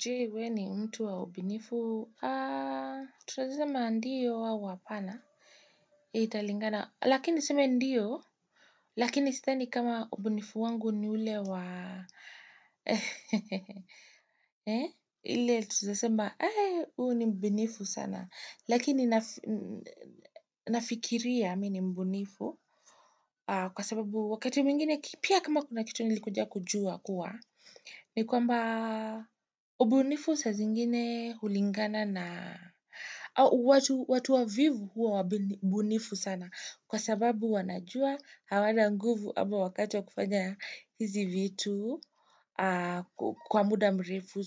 Jee we ni mtu wa ubinifu, tutawezasema ndio au apana, italingana, lakini niseme ndio, lakini sithani kama ubinifu wangu ni ule wa, ehehehe, e, iletu tunaezasema, e, uu ni mbinifu sana, lakini nafikiria mi ni mbinifu, kwa sababu wakati mingine, pia kama kuna kitu nilikuja kujua kuwa, ni kwamba ubunifu saa zingine hulingana na watu wavivu huwa ubunifu sana. Kwa sababu wanajua hawana nguvu ama wakati wa kufanya hizi vitu kwa muda mrefu.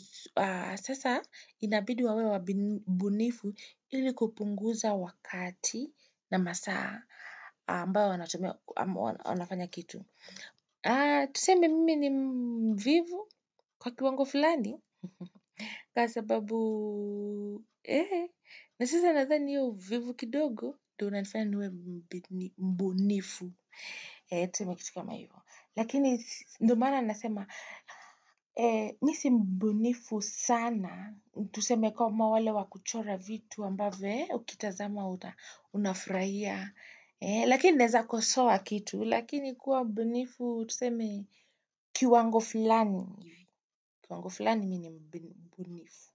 Sasa inabidi wawe wabunifu ili kupunguza wakati na masaa ambayo wanatumia wanafanya kitu. Tusemi mimi ni mvivu kwa kiwango fulani Kwa sababu na sasa nadhani hiyo uvivu kidogo ndio inanifanya niwe mbunifu Tusemi kitu kama yu Lakini ndio maana nasema Mi si mbonifu sana Tusemi kama wale wa kuchora vitu ambavyo ukitazama uta unafurahia Lakini naeza kosoa kitu lakini kuwa mbunifu tu seme kiwango fulani kiwango fulani mini mbunifu.